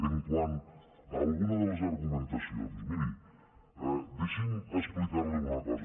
quant a alguna de les argumentacions miri deixi’m explicar li una cosa